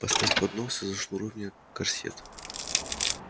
поставь поднос и зашнуруй мне корсет